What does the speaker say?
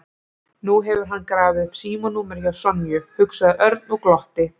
Nú hefur hann grafið upp símanúmerið hjá Sonju, hugsaði Örn og glotti.